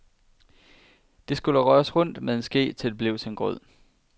Det hele skulle røres rundt med en ske, til det blev som en grød.